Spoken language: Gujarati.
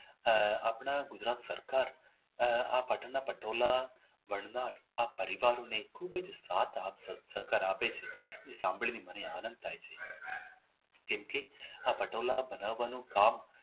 આહ આજે આપણા ગુજરાત સરકાર આહ આ પાટણના પટોળા બનનાર આ પરિવારને ખૂબ જ સાથ સહકાર આપે છે સાંભળી ને મને આનંદ થાય છે કેમકે આ પટોળા આ બનાવવાનું કામ